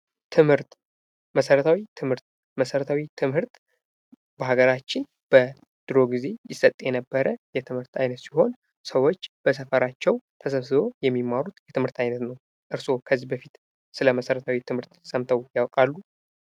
ትምህርት ፦ መሠረታዊ ትምህርት ፦ መሰረታዊ ትምህርት በሀገራችን በድሮ ጊዜ ይሰጥ የነበረ የትምህርት አይነት ሲሆን ሰዎች በሰፈራቸው ተሰብስበው የሚማሩት ትምህርት አይነት ነው ። እርሶ ከዚህ በፊት ስለ መሰረታዊ ትምህርት ሰምተው ያውቃሉ ?